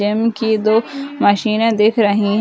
gym की दो मशीने दिख रहीं --